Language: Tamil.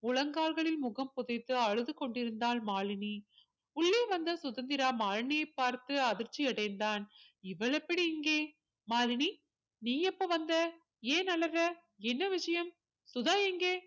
முழங்கால்களில் முகம் புதைத்து அழுது கொண்டிருந்தாள் மாலினி உள்ளே வந்த சுதந்திரா மாலினியை பார்த்து அதிர்ச்சி அடைந்தான் இவள் எப்படி இங்கே மாலினி நீ எப்ப வந்த ஏன் அழுகை என்ன விஷயம் சுதா எங்கே